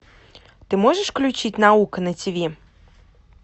ты можешь включить наука на ти ви